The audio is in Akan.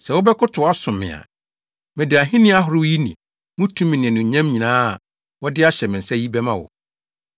“Sɛ wobɛkotow, asom me a, mede ahenni ahorow yi ne mu tumi ne anuonyam nyinaa a wɔde ahyɛ me nsa yi bɛma wo.”